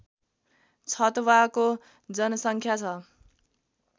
छतवाको जनसङ्ख्या छ